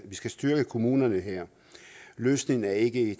vi skal styrke kommunerne løsningen er ikke